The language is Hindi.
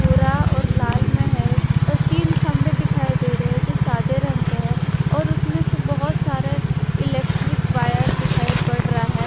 भूरा और लाल में है और तीन खंभे दिखाई दे रहे हैं जो सादे रंग है और उसमें से बहोत सारे इलेक्ट्रिक वायर दिखाई पड़ रहा है।